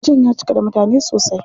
Wajen ya cika da mutane sosai.